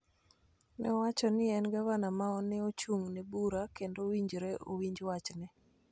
ne owacho ni en gavana ma ne ochung�ne bura kendo owinjore owinj wachne